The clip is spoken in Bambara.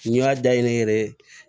N y'a dayɛlɛ n yɛrɛ ye